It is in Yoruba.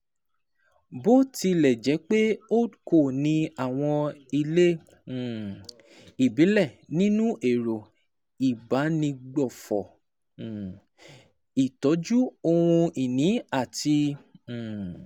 Bó tilẹ̀ jẹ́ pé HoldCos ní àwọn ilé um ìbílẹ̀ nínú ẹ̀rọ ìbánigbófò, um ìtọ́jú ohun ìní àti um